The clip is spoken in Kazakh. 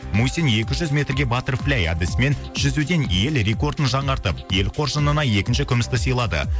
мусин екі жүз метрге батерфлэй әдісімен жүзуден ел рекордын жаңартып ел қоржынына екінші күмісті сыйлады